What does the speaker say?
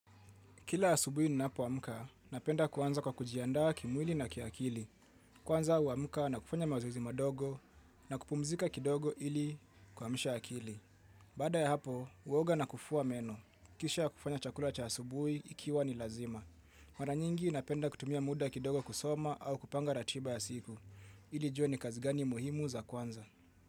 Kila asubuhi ninapo amka, napenda kuanza kwa kujiandaa kimwili na kiakili. Kwanza wa uamka na kufanya mazoezi madogo na kupumzika kidogo ili kuamsha akili. Baada ya hapo, uoga na kufua meno. Kisha kufanya chakula cha asubuhi ikiwa ni lazima. Mara nyingi napenda kutumia muda kidogo kusoma au kupanga ratiba ya siku. Ili nijue ni kazigani muhimu za kuanza.